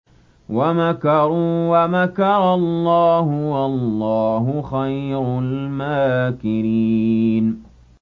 وَمَكَرُوا وَمَكَرَ اللَّهُ ۖ وَاللَّهُ خَيْرُ الْمَاكِرِينَ